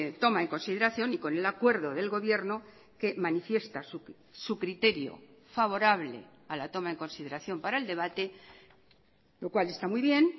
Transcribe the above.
toma en consideración y con el acuerdo del gobierno que manifiesta su criterio favorable a la toma en consideración para el debate lo cual está muy bien